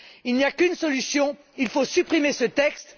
Il n'y a qu'une solution il faut supprimer ce texte.